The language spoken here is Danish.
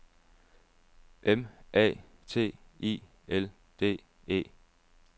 M A T I L D E